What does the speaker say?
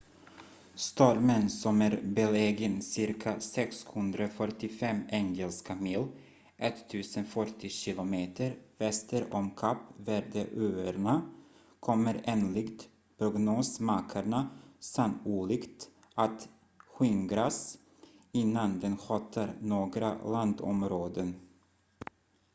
stormen som är belägen cirka 645 engelska mil 1040 km väster om kap verde-öarna kommer enligt prognosmakarna sannolikt att skingras innan den hotar några landområden